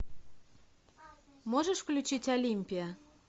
можешь включить олимпия